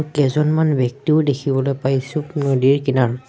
কেইজনমান ব্যক্তিও দেখিবলৈ পাইছোঁ নদীৰ কিনাৰত।